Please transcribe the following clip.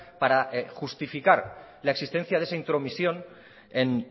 para justificar la existencia de esa intromisión en